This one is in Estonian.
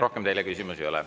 Rohkem teile küsimusi ei ole.